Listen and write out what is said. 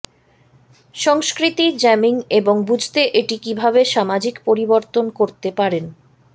সংস্কৃতি জ্যামিং এবং বুঝতে এটি কিভাবে সামাজিক পরিবর্তন করতে পারেন